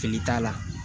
Fili t'a la